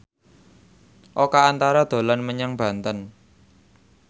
Oka Antara dolan menyang Banten